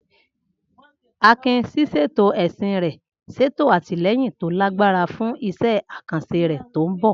Akin, ṣíṣètò ẹṣin rẹ̀, ṣètò àtìlẹ́yìn tó lágbára fún iṣẹ́ àkànṣe rẹ̀ tó ń bọ̀.